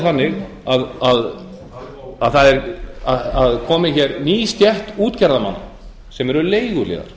þannig að það er komin hér ný stétt útgerðarmanna sem eru leiguliðar